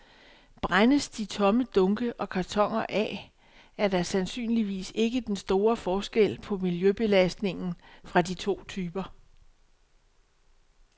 Brændes de tomme dunke og kartoner af, er der sandsynligvis ikke den store forskel på miljøbelastningen fra de to typer.